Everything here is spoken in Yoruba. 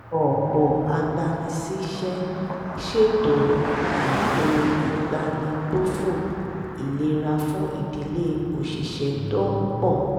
ọ̀pọ̀ agbanisíṣẹ́ ṣètò ètò ìbánigbófò ìlera fún ìdílé òṣìṣẹ́ tó ń pọ̀